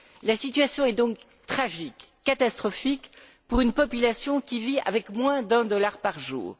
La situation est donc tragique, catastrophique, pour une population qui vit avec moins d'un dollar par jour.